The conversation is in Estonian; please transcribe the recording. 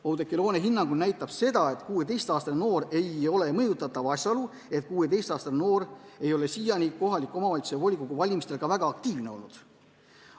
Oudekki Loone hinnangul näitab seda, et 16-aastane noor ei ole mõjutatav, asjaolu, et 16-aastane noor ei ole siiani kohaliku omavalitsuse volikogu valimistel ka väga aktiivne olnud.